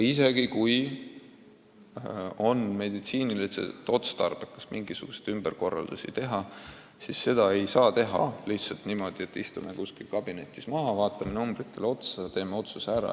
Isegi kui on meditsiiniliselt otstarbekas mingisuguseid ümberkorraldusi teha, siis neid ei tohi teha lihtsalt niimoodi, et istume kuskil kabinetis maha, vaatame numbritele otsa ja teeme otsuse ära.